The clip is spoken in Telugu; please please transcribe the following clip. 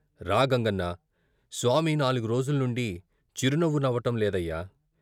రా గంగన్నా, స్వామి నాలుగు రోజుల నుండి చిరునవ్వు నవ్వటం లేదయ్యా!